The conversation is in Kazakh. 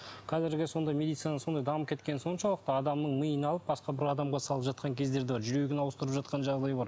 қазіргі сондай медицина сондай дамып кеткен соншалықты адамның миын алып басқа бір адамға салып жатқан кездер де бар жүрегін ауыстырып жатқан жағдай бар